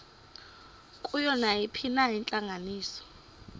kuyo nayiphina intlanganiso